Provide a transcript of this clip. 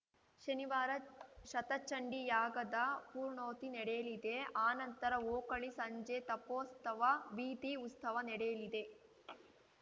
ಶನಿವಾರ ಶತಚಂಡೀ ಯಾಗದ ಪೂರ್ಣೋತಿ ನಡೆಯಲಿದೆ ಅನಂತರ ಓಕುಳಿ ಸಂಜೆ ತಪ್ಪೋಸ್ತವ ಬೀದಿ ಉಸ್ತವ ನಡೆಯಲಿದೆ